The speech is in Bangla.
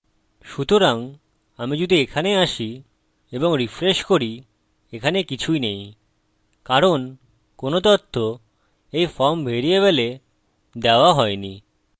সুতরাং আমি যদি এখানে আসি এবং রিফ্রেশ করি এখানে কিছুই নেই কারণ কোনো তথ্য এই ফর্ম ভ্যারিয়েবলে দেওয়া হইনি